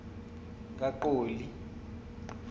kaqoli